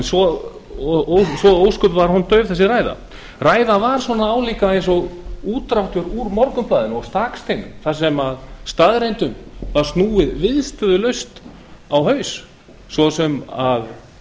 svo ósköp dauf var þessi ræða ræðan var svona álíka og útdráttur úr morgunblaðinu og staksteinum þar sem staðreyndum var viðstöðulaust snúið á haus svo sem að